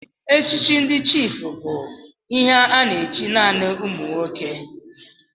Echichi ndị chiịfụ bụbu ihe a na-echi naanị ụmụ nwoke.